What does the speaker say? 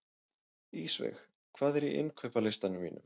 Ísveig, hvað er á innkaupalistanum mínum?